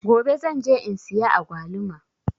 Gobe zan je in siya agwaluma.